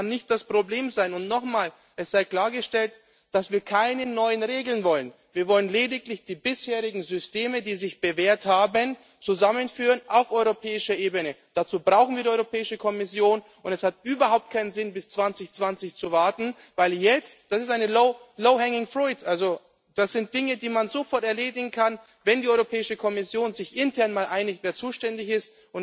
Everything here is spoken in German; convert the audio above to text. pro Auto. Also, das kann nicht das Problem sein. Nochmal Es sei klargestellt, dass wir keine neuen Regeln wollen. Wir wollen lediglich die bisherigen Systeme, die sich bewährt haben, auf europäischer Ebene zusammenführen. Dazu brauchen wir die Europäische Kommission. Es hat überhaupt keinen Sinn, bis 2020 zu warten, weil jetzt das ist eine low hanging fruit also das sind Dinge, die man sofort erledigen kann, wenn die Europäische Kommission sich intern einigt, wer